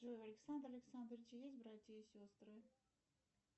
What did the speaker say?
джой у александра александровича есть братья и сестры